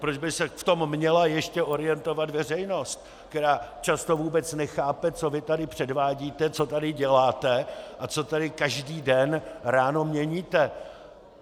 Proč by se v tom měla ještě orientovat veřejnost, která často vůbec nechápe, co vy tady předvádíte, co tady děláte a co tady každý den ráno měníte?